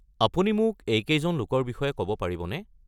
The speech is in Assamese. আপুনি মোক এইকেইজন লোকৰ বিষয়ে ক'ব পাৰিবনে?